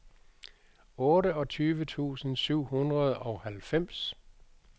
otteogtyve tusind syv hundrede og halvfems